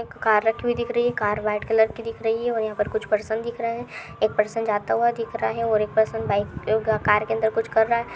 Car रखी हुई दिख रही है। कार व्हाइट कलर की दिख रही है और यहां पर कुछ पर्सन दिख रहे हैं। एक पर्सन जाता हुआ दिख रहा है और एक पर्सन बाइक कार के अंदर कुछ कर रहा है।